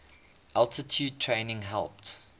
altitude training helped